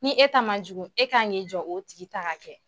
Ni e ta ma jugu e k'an ka ki jɔ o tigi ta ka kɛ.